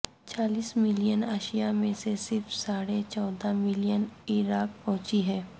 چالیس ملین اشیاء میں سے صرف ساڑھے چودہ ملین عراق پہنچی ہیں